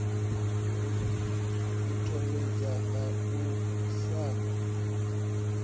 u thetshelesa u ṱanganyisa na